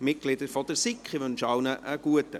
Ich wünsche allen einen guten Appetit.